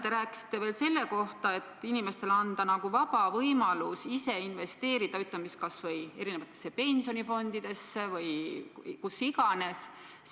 Te rääkisite veel, et vaja on inimestele anda vaba võimalus ise investeerida, ütleme siis, erinevatesse pensionifondidesse või kuhu iganes.